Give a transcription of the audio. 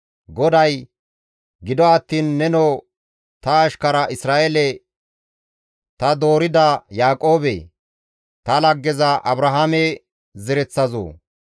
GODAY, «Gido attiin nenoo ta ashkara Isra7eele, ta doorida Yaaqoobe, ta laggeza Abrahaame zereththazoo,